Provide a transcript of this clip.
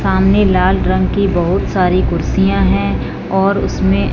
सामने लाल रंग की बहुत सारी कुर्सियां है और उसमें--